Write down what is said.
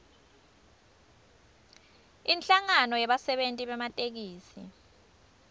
inhlangano yebasebenti bematekisi